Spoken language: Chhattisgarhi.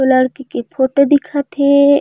उ लड़की के फोटो दिखत हे।